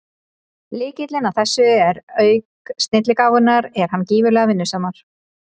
Lykillinn að þessu er að auk snilligáfunnar er hann gífurlega vinnusamur.